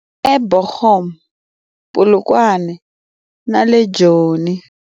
eBochum, Polokwane na le Joni.